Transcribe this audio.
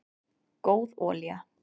góð olía